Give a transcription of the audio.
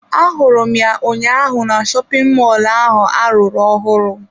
Ahụrụ m ya ụnyaahụ na shopin mọlụ ahụ arụrụ ọhụrụ.